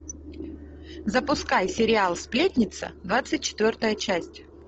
запускай сериал сплетница двадцать четвертая часть